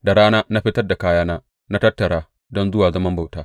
Da rana na fitar da kayana da na tattara don zuwa zaman bauta.